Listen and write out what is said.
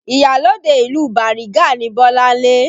Iyalode ìlú Bariga ni Bolanle